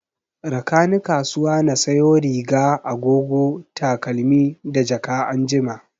Rakani kasuwa na sayo riga, agogo, takalmi da jaka anjima